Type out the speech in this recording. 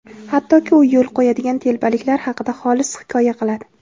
hattoki u yo‘l qo‘yadigan telbaliklar haqida xolis hikoya qiladi.